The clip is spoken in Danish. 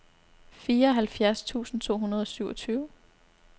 fireoghalvfjerds tusind to hundrede og syvogtyve